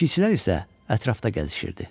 Keşikçilər isə ətrafda gəzişirdi.